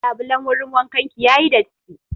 Labulan wurin wankan ki ya yi datti.